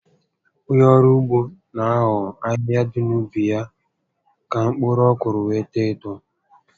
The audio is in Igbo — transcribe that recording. Ònye ọrụ ugbo n'eho ahịhịa dị na ubi ya ka mkpụrụ ọkụrụ were too etoo